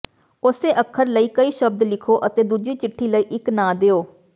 ਉਸੇ ਅੱਖਰ ਲਈ ਕਈ ਸ਼ਬਦ ਲਿਖੋ ਅਤੇ ਦੂਜੀ ਚਿੱਠੀ ਲਈ ਇੱਕ ਨਾਂ ਦਿਓ